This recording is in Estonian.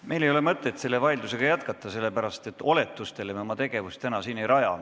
Meil ei ole mõtet seda vaidlust jätkata, sest oletustele me oma tegevust siin ei raja.